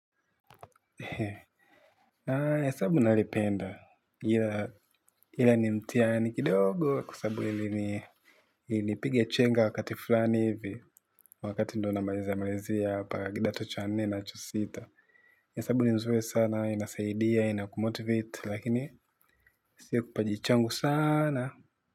Hesabu nalipenda ila ila ni mtihani kidogo kwa sabu ili ni ilinipiga chenga wakati fulani hivi wakati ndo namalizia malizia hapa kidato cha nne na cha sita hesabu ni nzuri sana inasaidia inakumotivite lakini sio kipaji changu sana na.